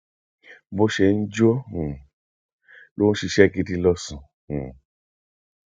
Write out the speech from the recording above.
bó ṣe ń jó um ló ń ṣiṣẹ gidi lọsùn um